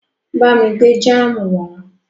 Bá mi gbé jáámù wá.